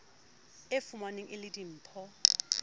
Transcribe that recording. e fumanweng e le dimpho